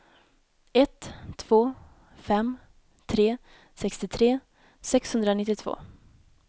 ett två fem tre sextiotre sexhundranittiotvå